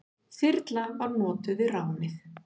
Þyrla var notuð við ránið.